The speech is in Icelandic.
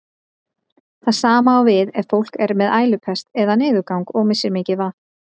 Það sama á við ef fólk er með ælupest eða niðurgang og missir mikið vatn.